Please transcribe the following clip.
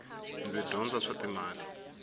ndzi dyondza swa timali